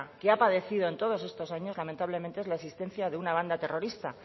que ha padecido en todos estos años lamentablemente es la existencia de una banda terrorista